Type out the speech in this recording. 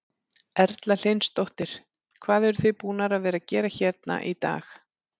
Erla Hlynsdóttir: Hvað eruð þið búnar að vera að gera hérna í dag?